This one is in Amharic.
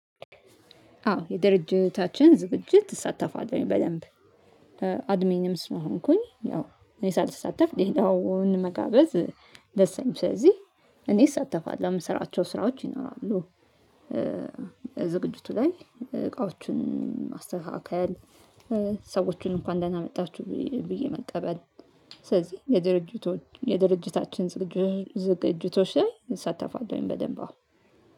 አዎ የድርጅታችን ዝግጅት እሳተፋለሁ በደንብ። አድሚንም ስለ ሆንኩኝ ያው እኔ ሳልሳተፍ ሌላውን መጋበዝ። ደስ አይልም ስለዚህ እኔ እሳተፋለሁ የምሰራቸው ስራዎች ይኖራሉ። ዝግጅቱ ላይ እቃዎቹን ማስተካከል። ሰዎቹን እንኳን ደህና መጣችሁ ብዬ መቀበል። ስለዚህ የድርጅቶች የድርጅታችን ዝግጅቶች ላይ እሳተፋለሁኝ በደንብ አሁን።